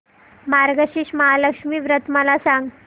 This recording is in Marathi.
मार्गशीर्ष महालक्ष्मी व्रत मला सांग